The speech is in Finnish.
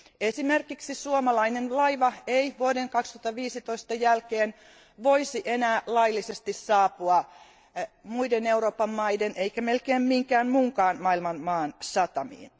Esimerkiksi suomalainen laiva ei vuoden 2015 jälkeen voisi enää laillisesti saapua muiden Euroopan maiden eikä melkein minkään muunkaan maan satamiin.